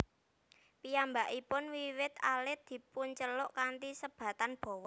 Piyambakipun wiwit alit dipunceluk kanthi sebatan Bowo